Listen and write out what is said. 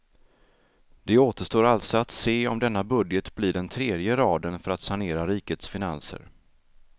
Det återstår alltså att se om denna budget blir den tredje i raden för att sanera rikets finanser.